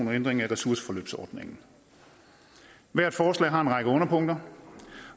og ændring af ressourceforløbsordningen hvert forslag har en række underpunkter